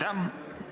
Aitäh!